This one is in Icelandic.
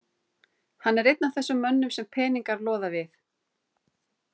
Hann er einn af þessum mönnum sem peningar loða við.